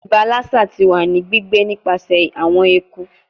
Iba Lassa ti wa ni gbigbe nipasẹ awọn eku